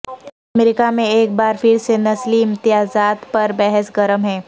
امریکہ میں ایک بار پھر سے نسلی امتیازات پر بحث گرم ہے